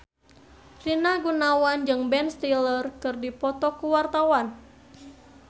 Rina Gunawan jeung Ben Stiller keur dipoto ku wartawan